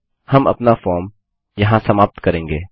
हम अपना फॉर्म यहाँ समाप्त करेंगे